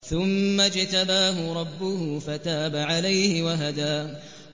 ثُمَّ اجْتَبَاهُ رَبُّهُ فَتَابَ عَلَيْهِ وَهَدَىٰ